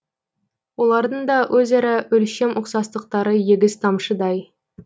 олардың да өзара өлшем ұқсастықтары егіз тамшыдай